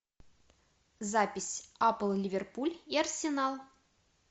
запись апл ливерпуль и арсенал